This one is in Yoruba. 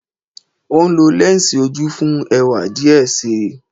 O nlo lẹnsi oju fun ẹwa diẹ sii